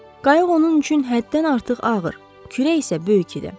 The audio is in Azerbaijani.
Qayıq onun üçün həddən artıq ağır, kürək isə böyük idi.